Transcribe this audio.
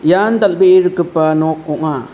ian dal·bee rikgipa nok ong·a.